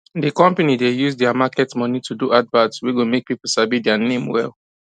d company dey use their market money to do advert wey go make people sabi dia name well